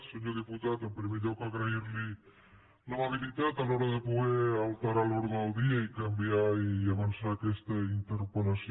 senyor diputat en primer lloc agrair li l’amabilitat a l’hora de poder alterar l’ordre del dia i canviar i avançar aquesta interpel·lació